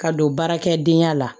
Ka don baarakɛdenya la